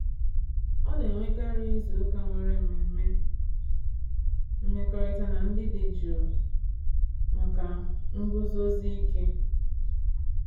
Ọ na-enwekarị izuụka nwere mmemme mmekọrịta na ndị dị jụụ maka nguzozi ike.